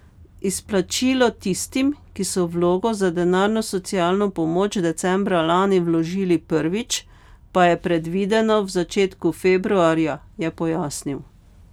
Izplačilo tistim, ki so vlogo za denarno socialno pomoč decembra lani vložili prvič, pa je predvideno v začetku februarja, je pojasnil.